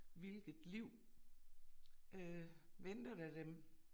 Hvilket liv øh venter der dem